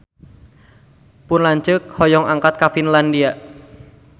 Pun lanceuk hoyong angkat ka Finlandia